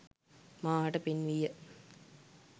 මා හට පෙන්වීය